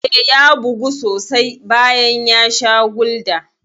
Eh, ya bugu sosai bayan ya sha Gulda.